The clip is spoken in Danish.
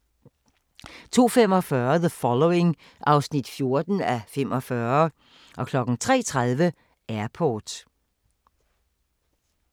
02:45: The Following (14:45) 03:30: Airport